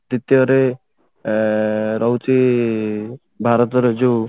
ଦ୍ବିତୀୟ ରେ ଏ ରହୁଛି ଭରତର ଯଉ